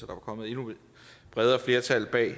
kommet et endnu bredere flertal bag